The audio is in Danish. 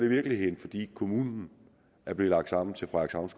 i virkeligheden fordi kommunen er blevet lagt sammen